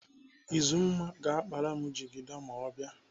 Uzumma ga-akpara m jigida ma ọ bịa.